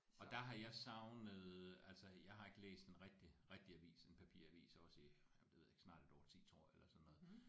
Og der har jeg savnet altså jeg har ikke læst en rigtig rigtig avis en papiravis også i jeg ved ikke snart et årti tror jeg eller sådan noget